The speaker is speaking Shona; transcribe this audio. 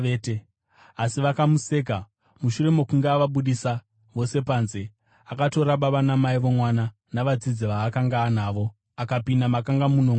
Asi vakamuseka. Mushure mokunge avabudisa vose panze, akatora baba namai vomwana navadzidzi vaakanga anavo, akapinda makanga muno mwana.